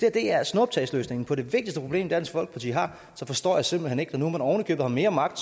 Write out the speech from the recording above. er snuptagsløsningen på det vigtigste problem dansk folkeparti har så forstår jeg simpelt hen ikke når nu man ovenikøbet har mere magt